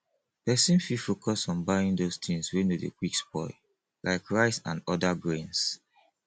person fit focus on buying those things wey no dey quick spoil like rice and oda grains